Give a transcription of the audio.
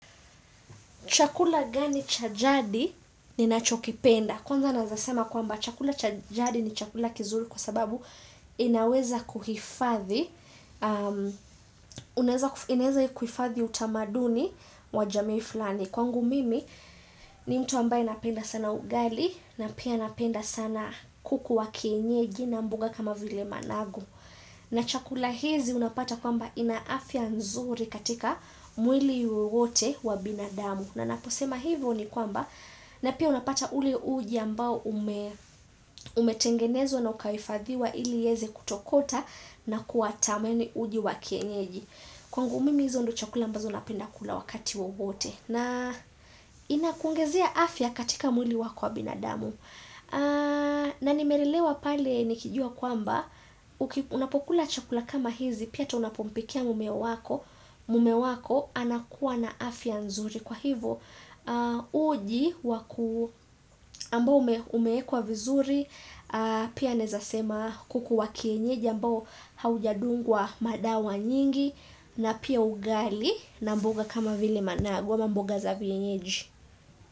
Chakula gani cha jadi ninacho kipenda. Kwanza nawezasema kwamba chakula cha jadi ni chakula kizuri kwa sababu inaweza kuhifathi. Unaweza kuhifathi utamaduni wa jamii fulani. Kwangu mimi ni mtu ambaye napenda sana ugali na pia napenda sana kuku wa kienyeji na mboga kama vile managu. Na chakula hizi unapata kwamba ina afya nzuri katika mwili wowote wa binadamu. Na naposema hivyo ni kwamba na pia unapata ule uji ambao umetengenezwa na ukahifadhiwa ili iweze kutokota na kuatameni uji wa kienyeji. Kwangu mimi hizo ndio chakula mbazo napenda kula wakati wowote. Na inakuongezea afya katika mwili wako wa binadamu. Na nimelelewa pale nikijua kwamba unapokula chakula kama hizi pia hata unapompikia mume wako. Mume wako anakua na afya nzuri. Kwa hivo uji ambao umeekwa vizuri pia naezasema kuku wa kienyeji ambao haujadungwa madawa nyingi na pia ugali na mboga kama vile managu ama mboga za vienyeji.